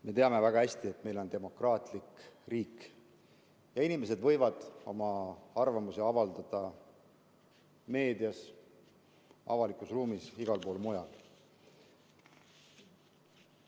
Me teame väga hästi, et meil on demokraatlik riik ja inimesed võivad oma arvamust avaldada meedias, avalikus ruumis, igal pool mujal.